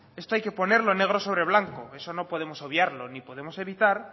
esto hay que ponerlo negro sobre blanco eso no podemos obviarlo ni podemos evitar